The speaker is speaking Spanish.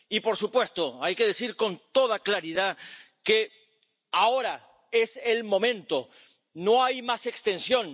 Y, por supuesto, hay que decir con toda claridad que ahora es el momento, no hay más extensión.